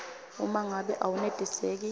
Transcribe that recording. uma ngabe awenetiseki